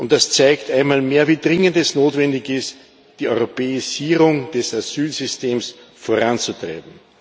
Das zeigt einmal mehr, wie dringend notwendig es ist, die Europäisierung des Asylsystems voranzutreiben.